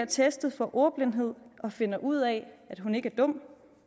testet for ordblindhed og finder ud af at hun ikke er dum